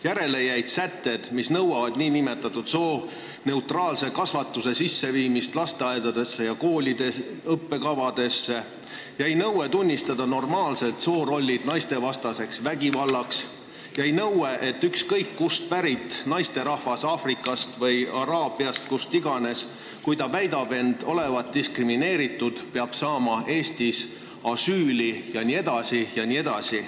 Järele jäid sätted, mis nõuavad nn sooneutraalse kasvatuse põhimõtete arvestamist lasteaedades ja koolide õppekavades, jäi nõue tunnistada normaalsed soorollid naistevastaseks vägivallaks, jäi nõue, et ükskõik kust pärit naisterahvas, olgu Aafrikast või Araabiast või kust iganes, kui ta väidab end olevat diskrimineeritud, peab saama Eestis asüüli jne, jne.